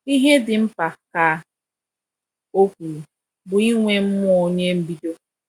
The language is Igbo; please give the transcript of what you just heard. "Ihe dị mkpa," ka ọ kwuru, "bụ inwe mmụọ onye mbido."